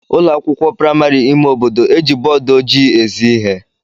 Ụlọ akwụkwọ praịmari ime obodo eji bọọdụ ojii ezi ihe.